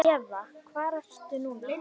Eva: Hvar ertu núna?